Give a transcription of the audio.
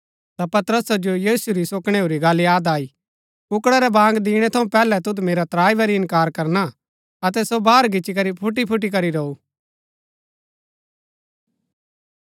ता पतरसा जो यीशु री सो कणैऊरी गल्ल याद आई कुक्कड़ा रै बाँग दिणै थऊँ पैहलै तुद मेरा त्राई बरी इन्कार करना अतै सो बाहर गिच्ची करी फूटी फूटी करी रोऊ